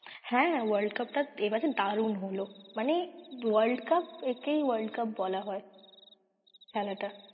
হ্যাঁ world cup টা এবারে দারুন হল মানে world cup একেই world cup বলা হয় খেলাটা।